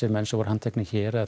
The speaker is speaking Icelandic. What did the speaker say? menn sem voru handteknir hér eða